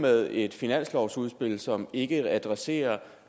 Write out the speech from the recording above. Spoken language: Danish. med et finanslovsudspil som ikke adresserer